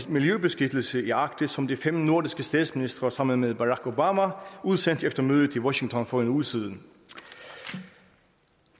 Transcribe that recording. miljøbeskyttelse i arktis som de fem nordiske statsministre sammen med barack obama udsendte efter mødet i washington for en uge siden